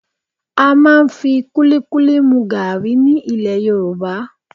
À máa ń fi kúlíkúlí mu gaàrí ní ilẹ̀ Yorùbá